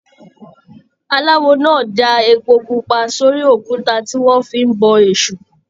Aláwò náà dáa èpo pupa sórí òkúta tí wọn fí n bọ èṣù.